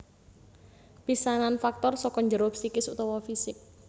Pisanan faktor saka njero psikis utawa fisik